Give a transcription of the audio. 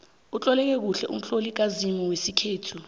utloleke kuhle umtlolo kazimu wesikhethu